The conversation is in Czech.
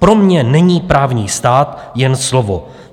Pro mě není právní stát jen slovo.